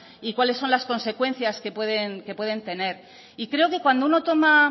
y cuáles son las consecuencias que pueden tener y creo que cuando uno toma